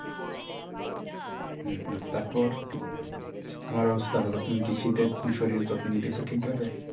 হম হম তারপর তোমার অবস্থা বলো তুমি কি শীতের শরীরের যত্ন নিতেছো ঠিকভাবে?